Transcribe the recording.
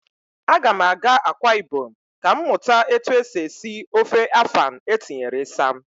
A ga m aga Akwa ibom ka m mụta etu esi esi ofe afan etinyere isam